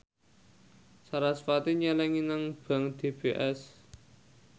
sarasvati nyelengi nang bank DBS